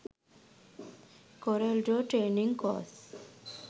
corel draw trainig course